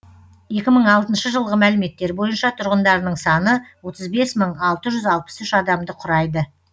екі мың алтыншы жылғы мәліметтер бойынша тұрғындарының саны отыз бес мың алты жүз алпыс үш адамды құрайды